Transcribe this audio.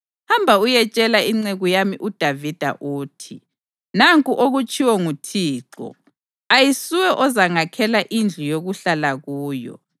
“Hamba uyetshela inceku yami uDavida uthi, ‘Nanku okutshiwo nguThixo: Ayisuwe ozangakhela indlu yokuhlala kuyo.